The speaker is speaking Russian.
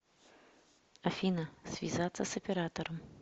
афина связаться с оператором